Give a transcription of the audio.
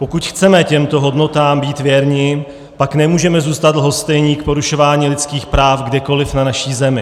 Pokud chceme těmto hodnotám být věrni, pak nemůžeme zůstat lhostejní k porušování lidských práv kdekoliv na naší Zemi.